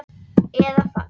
Margir brú í munni bera.